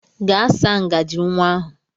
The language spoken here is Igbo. Gaa saa ngajị nwa ahụ!